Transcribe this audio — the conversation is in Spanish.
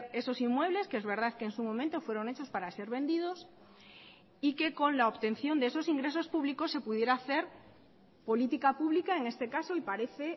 esos inmuebles que es verdad que en su momento fueron hechos para ser vendidos y que con la obtención de esos ingresos públicos se pudiera hacer política pública en este caso y parece